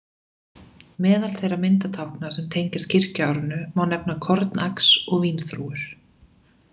Meðal þeirra myndatákna sem tengjast kirkjuárinu má nefna kornax og vínþrúgur.